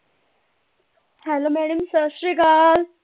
Hello madam ਸਤਿ ਸ਼੍ਰੀ ਅਕਾਲ।